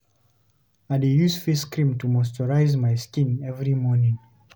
I dey use face cream to moisturize my skin every morning.